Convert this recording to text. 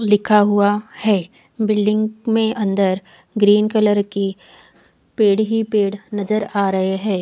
लिखा हुआ है बिल्डिंग में अन्दर ग्रीन कलर की पेड़ ही पेड़ नज़र आ रहे है।